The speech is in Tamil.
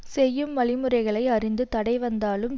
செய்யும் வழி முறைகளை அறிந்து தடை வந்தாலும்